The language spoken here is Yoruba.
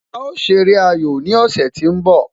A ṣe eré ayò ní ọ̀sẹ̀ tó ń bọ